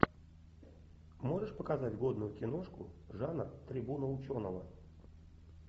можешь показать годную киношку жанр трибуна ученого